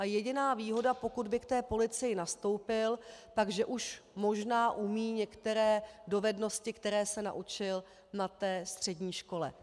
A jediná výhoda, pokud by k policii nastoupil, je, že už možná umí některé dovednosti, které se naučil na té střední škole.